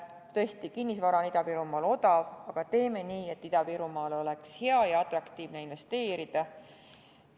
Tõesti, kinnisvara on Ida-Virumaal odav, aga teeme nii, et Ida-Virumaale oleks hea ja atraktiivne investeerida.